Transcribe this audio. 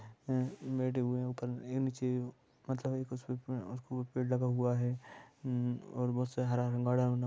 पेड़ लगा हुआ है हुआ है और बस से हरा रंग--